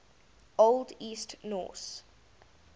old east norse